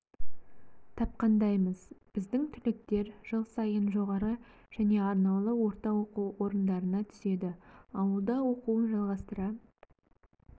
тапқандаймыз біздің түлектер жыл сайын жоғары және арнаулы орта оқу орындарына түседі ауылда оқуын жалғастыра